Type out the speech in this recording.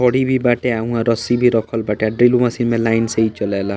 भी बाटे अ उहाँ रस्सी भी रखल बाटे ड्रिल मशीन में लाइन से ही चले ला।